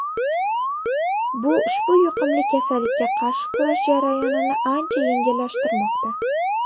Bu ushbu yuqumli kasallikka qarshi kurash jarayonini ancha yengillashtirmoqda.